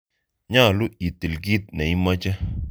Nyalu itil kit neimoche.